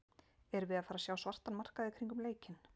Erum við að fara sjá svartan markað í kringum leikinn?